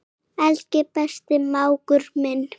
Elsku besti mágur minn.